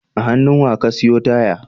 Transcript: A hannu Wa ka siyo taya?